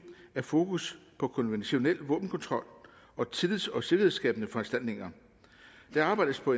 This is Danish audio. er fokus på konventionel våbenkontrol og tillids og sikkerhedsskabende foranstaltninger der arbejdes på